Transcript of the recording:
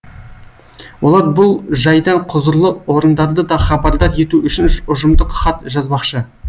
олар бұл жайдан құзырлы орындарды да хабардар ету үшін ұжымдық хат жазбақшы